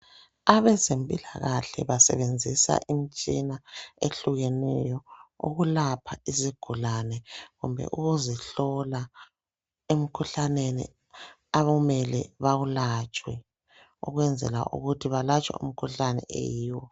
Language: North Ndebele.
Abezempilakahle basebenzisa imitshina, ehlukeneyo, ukulapha izigulane, kumbe ukuzihlola. Emikhuhlaneni abamele bawulatshwe. Ukwenzela ukuthi balatshwe umkhuhlane oyiwo.